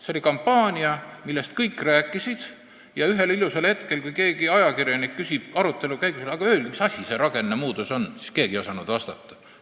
See oli kampaania, millest kõik rääkisid, aga ühel ilusal hetkel, kui keegi ajakirjanik küsis arutelu käigus, et öelge, mis asi see rakennemuutos on, siis keegi ei osanud vastata.